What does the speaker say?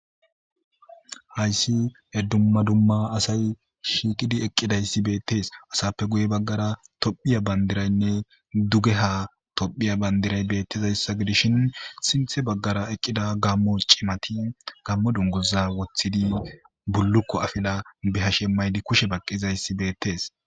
hayssi e ddumma dumma asay shiiqidi eqqidayssi beettees asappe guye baggara tophiya bandiraynne dugeha tophiya bandiray beettizayssa gidishin sinthe baggara eqqida gammo cimati gammo dunguza wothidi bullukko afila behashe maydi kushe baqqizayssi beettees